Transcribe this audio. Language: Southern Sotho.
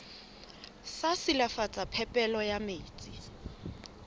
sa silafatsa phepelo ya metsi